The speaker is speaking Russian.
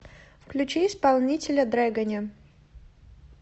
включи исполнителя дрэгони